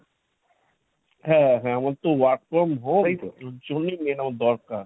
হ্যাঁ হ্যাঁ আমার তো work from home ওর জন্যেই main এর দরকার।